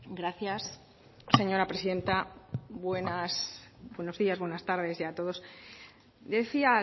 gracias señora presidenta buenas buenos días buenas tardes y a todos decía